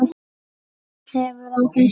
Öll hefur þessi